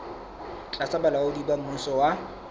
tlasa bolaodi ba mmuso wa